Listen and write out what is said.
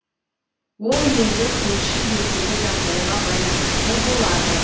ол енді көрші елдегі жағдайға байланысты болады